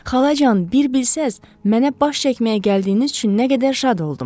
Xalacan, bir bilsəz, mənə baş çəkməyə gəldiyiniz üçün nə qədər şad oldum!